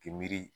K'i miiri